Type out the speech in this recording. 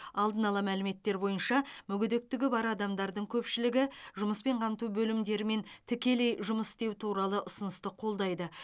алдын ала мәліметтер бойынша мүгедектігі бар адамдардың көпшілігі жұмыспен қамту бөлімдерімен тікелей жұмыс істеу туралы ұсынысты қолдайды